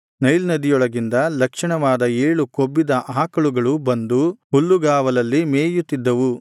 Nile ನದಿಯೊಳಗಿಂದ ಲಕ್ಷಣವಾದ ಏಳು ಕೊಬ್ಬಿದ ಆಕಳುಗಳು ಬಂದು ಹುಲ್ಲುಗಾವಲಲ್ಲಿ ಮೇಯುತ್ತಿದ್ದವು